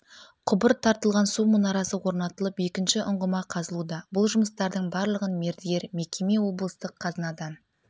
құбыр тартылған су мұнарасы орнатылып екінші ұңғыма қазылуда бұл жұмыстардың барлығын мердігер мекеме облыстық қазынадан